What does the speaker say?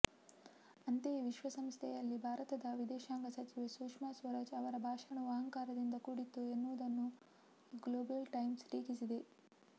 ಅಂತೆಯೇ ವಿಶ್ವಸಂಸ್ಥೆಯಲ್ಲಿ ಭಾರತದ ವಿದೇಶಾಂಗ ಸಚಿವೆ ಸುಷ್ಮಾ ಸ್ವರಾಜ್ ಅವರ ಭಾಷಣವು ಅಹಂಕಾರದಿಂದ ಕೂಡಿತ್ತು ಎನ್ನುವುದನ್ನು ಗ್ಲೋಬಲ್ ಟೈಮ್ಸ್ ಟೀಕಿಸಿದೆ